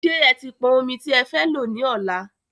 Ṣé e ti pọn ọmi tí e fẹ́ lọ ní ọlá?